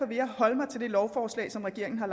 vil jeg holde mig til det lovforslag som regeringen har